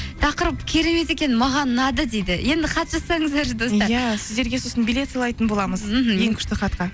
тақырып керемет екен маған ұнады дейді енді хат жазсаңыздаршы достар иә сіздерге сосын билет сыйлайтын боламыз мхм ең күшті хатқа